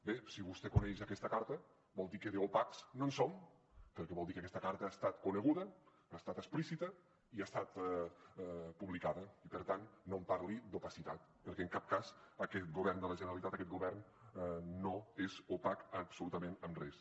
bé si vostè coneix aquesta carta vol dir que d’opacs no en som perquè vol dir que aquesta carta ha estat coneguda ha estat explícita i ha estat publicada i per tant no em parli d’opacitat perquè en cap cas aquest govern de la generalitat aquest govern no és opac absolutament en res